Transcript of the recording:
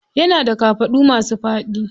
Yana da kafaɗu masu faɗi.